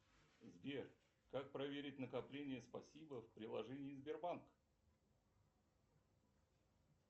сбер как проверить накопления спасибо в приложении сбербанк